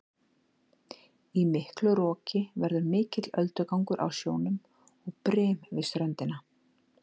Í miklu roki verður mikill öldugangur á sjónum og brim við ströndina.